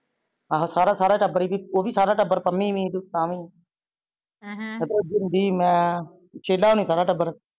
ਆਹਾ ਸਾਰਾ ਸਾਰਾ ਟੱਬਰ ਏਵੀ ਓਵੀ ਸਾਰਾ ਟੱਬਰ ਪੰਮੀ ਵੀ ਤਾਵੀ ਐਹੈਂ ਰਾਜੀਵ ਮੈ ਸ਼ੇਲਾ ਹੋਣੀ ਸਾਰਾ ਟੱਬਰ।